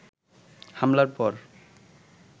হামলার পর